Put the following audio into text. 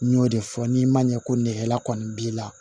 N y'o de fɔ n'i ma ɲɛ ko nɛgɛ kɔni b'i la